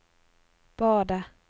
badet